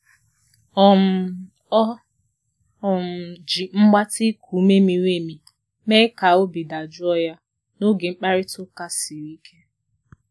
um O um ji mgbatị iku ume miri emi mee ka obi dajụọ ya n'oge mkparịta ụka siri ike.